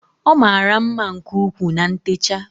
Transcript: Ọ mara mma nke ukwuu na ntecha